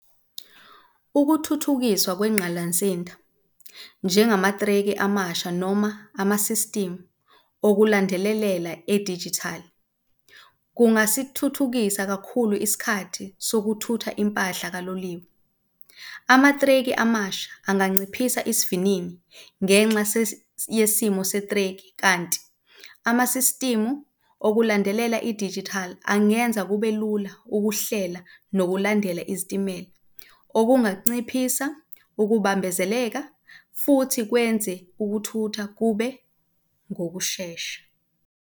Ukuthuthukiswa kwengqalansinda njengamathreki amasha noma ama-system okulandelelela edijithali kungasithuthukisa kakhulu isikhathi sokuthutha impahla kaloliwe. Amathreki amasha anganciphisa isivinini ngenxa yesimo sethreki kanti ama-system okulandelela idijithali angenza kube lula ukuhlela nokulandela izitimela, okunganciphisa ukubambezeleka futhi kwenze ukuthutha kube ngokushesha.